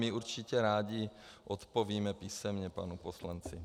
My určitě rádi odpovíme písemně panu poslanci.